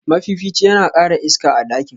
mafifici yana kara iska a ɗakin.